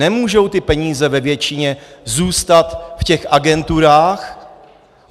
Nemůžou ty peníze ve většině zůstat v těch agenturách.